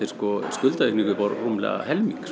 skuldaaukning upp á rúmlega helming